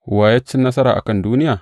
Wa ya cin nasara a kan duniya?